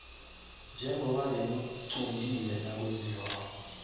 njengoba bekuquntiwe nakwenziwako